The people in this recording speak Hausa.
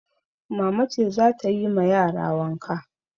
Mama ce za ta yi ma yara wanka.